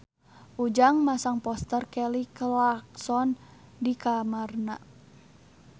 Ujang masang poster Kelly Clarkson di kamarna